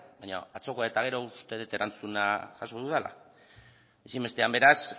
baina atzokoa eta gero uste dut erantzuna jaso dudala ezinbestean beraz